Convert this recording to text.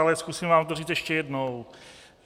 Ale zkusím vám to říct ještě jednou.